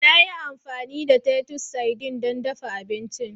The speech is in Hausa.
Na yi amfani da Titus sardines don dafa abinci